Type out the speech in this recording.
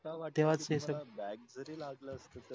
back जरी लागल असत तरी